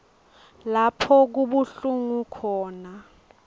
lapho kubuhlungu khona